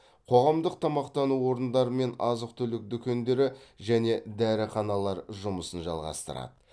қоғамдық тамақтану орындары мен азық түлік дүкендері және дәріханалар жұмысын жалғастырады